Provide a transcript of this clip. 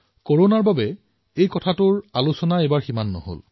কৰোনাৰ বাবে এই বছৰ ইয়াৰ চৰ্চা অধিক নহল